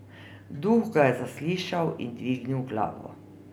Duh ga je zaslišal in dvignil glavo.